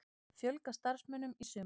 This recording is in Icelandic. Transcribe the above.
Fjölga starfsmönnum í sumar